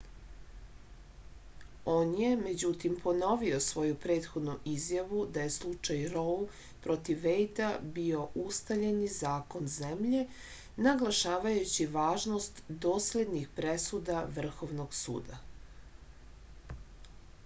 on je međutim ponovio svoju prethodnu izjavu da je slučaj rou protiv vejda bio ustaljeni zakon zemlje naglašavajući važnost doslednih presuda vrhovnog suda